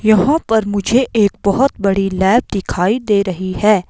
यहां पर मुझे एक बहोत बड़ी लैब दिखाई दे रही है।